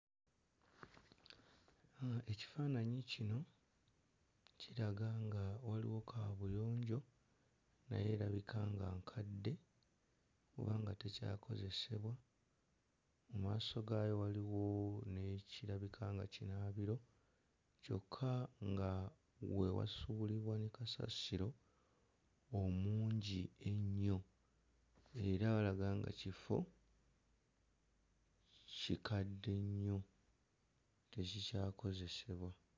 Mm ekifaananyi kino kiraga nga waliwo kaabuyonjo naye erabika nga nkadde era nga tekyakozesebwa mmaaso gaayo waliwo n'ekirabika nga kinaabiro kyokka nga we wasuulibwa ne kasasiro omungi ennyo era alaga nga kifo kikadde nnyo tekikyakozesebwa.